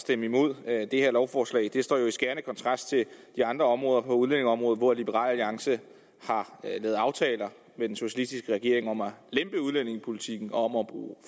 stemme imod det her lovforslag det står jo i skærende kontrast til de andre områder inden for udlændingeområdet hvor liberal alliance har lavet aftaler med den socialistiske regering om at lempe udlændingepolitikken om at bruge